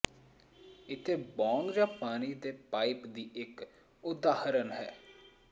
ਇੱਥੇ ਬੌਂਗ ਜਾਂ ਪਾਣੀ ਦੇ ਪਾਈਪ ਦੀ ਇਕ ਉਦਾਹਰਨ ਹੈ